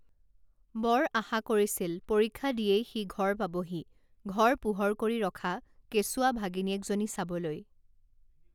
বৰ আশা কৰিছিল পৰীক্ষা দিয়েই সি ঘৰ পাবহি ঘৰ পোহৰ কৰি ৰখা কেঁচুৱা ভাগিনীয়েকজনী চাবলৈ